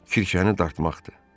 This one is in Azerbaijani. Kirşəni dartmaqdır.